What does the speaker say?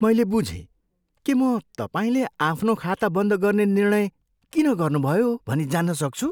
मैले बुझेँ। के म तपाईँले आफ्नो खाता बन्द गर्ने निर्णय किन गर्नुभयो भनी जान्न सक्छु?